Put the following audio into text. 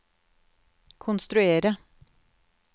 konstruerte